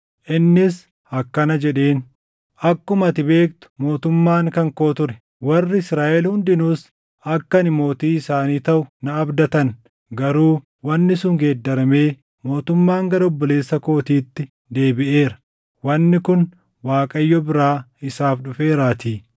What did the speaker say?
Innis akkana jedheen; “Akkuma ati beektu mootummaan kan koo ture. Warri Israaʼel hundinuus akka ani mootii isaanii taʼu na abdatan. Garuu wanni sun geeddaramee mootummaan gara obboleessa kootiitti deebiʼeera; wanni kun Waaqayyo biraa isaaf dhufeeraatii.